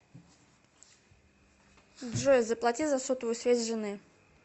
джой заплати за сотовую связь жены